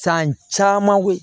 San caman ko